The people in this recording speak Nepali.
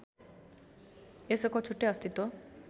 यसको छुट्टै अस्तित्व